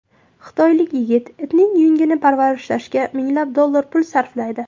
Xitoylik yigit itining yungini parvarishlashga minglab dollar pul sarflaydi .